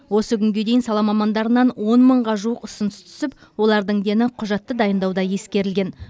осы күнге дейін сала мамандарынан он мыңға жуық ұсыныс түсіп олардың дені құжатты дайындауда ескерілген